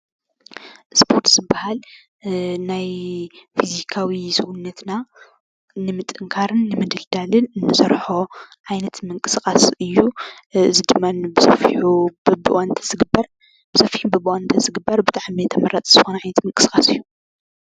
እስፖርቲ ዝበሃል እ ናይ ፍዚካዊ ሰውነትና ንምጥንካርን ንምድልዳልን ንሰርሖ ዓይነት ምንቅስቃስ እዩ ።እዚ ድማ ንቡዝሕ እዩ በቢእዋኑ ተዝግበር ብሰፊሑ በቢእዋኑ ተዝግበር ተመራፂ ዝኾነ ዕይነት ምንቅስቃስ እዩ።